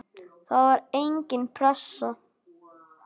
Það var engin pressa.